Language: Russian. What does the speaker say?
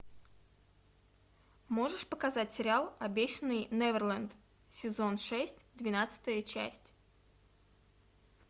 можешь показать сериал обещанный неверленд сезон шесть двенадцатая часть